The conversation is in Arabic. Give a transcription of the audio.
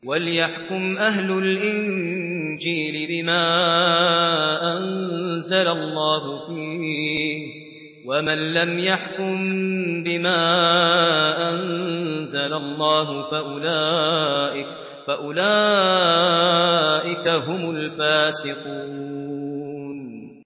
وَلْيَحْكُمْ أَهْلُ الْإِنجِيلِ بِمَا أَنزَلَ اللَّهُ فِيهِ ۚ وَمَن لَّمْ يَحْكُم بِمَا أَنزَلَ اللَّهُ فَأُولَٰئِكَ هُمُ الْفَاسِقُونَ